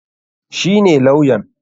Shi ne lawyan?